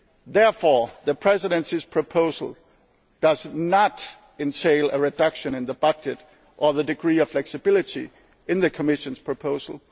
those instruments are included. Therefore, the Presidency's proposal does not entail a reduction in the budget or in the degree of flexibility